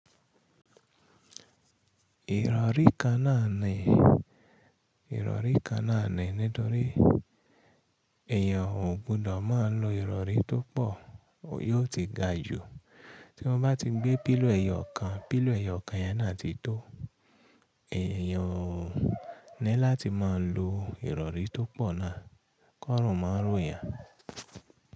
Ìrọ̀rí kan náà ni, ìrọ̀rí kan náà ni nítorí èèyàn ò gbọdọ̀ máa lo ìrọ̀rí tó pọ̀, yóò ti ga jù. Tọ́ bá ti gbé píllòw ẹ̀yọ̀ kan, pílò ẹ̀yọ̀ kan yẹn náà ti tó, èèyàn ní láti máa lo ìrọ̀rí tó pọ̀ náà kó rùn máa ró yan.